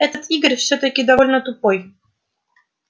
этот игорь всё-таки довольно тупой